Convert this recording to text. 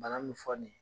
Bana min fɔ nin ye